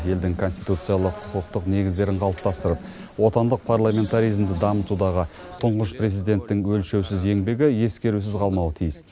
елдің конституциялық құқықтық негіздерін қалыптастырып отандық парламентаризмді дамытудағы тұңғыш президенттің өлшеусіз еңбегі ескерусіз қалмауы тиіс